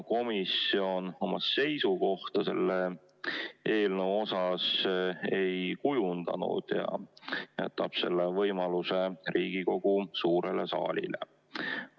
Komisjon oma seisukohta selle eelnõu suhtes ei kujundanud ja jätab selle võimaluse Riigikogu suurele saalile.